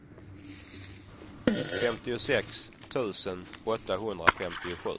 femtiosex tusen åttahundrafemtiosju